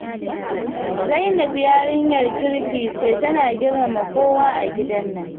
Zainab yarinyar kirki ce tana girmama kowa a gidan nan.